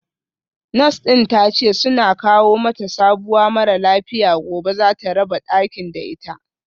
Nurse din tace suna kawo mata sabuwa mara lafiya gobe zata raba dakin da ita